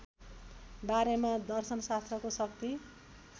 बारेमा दर्शनशास्त्रको शक्ति